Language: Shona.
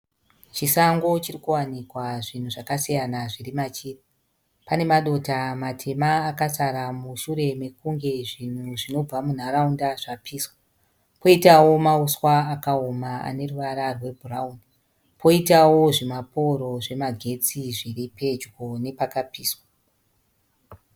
Chisango chirikuwanikwa zvinhu zvakasiyana zvirimachiri. Pane madota matema akasara mushure mekunge zvinhu zvinobva munharaunda zvapiswa. Koitawo mauswa akaoma aneruvara rwe bhurauni. Koitawo zvimaporo zvemagetsi zviripedyo nepakapiswa.